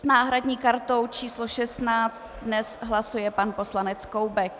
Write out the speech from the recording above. S náhradní kartou číslo 16 dnes hlasuje pan poslanec Koubek.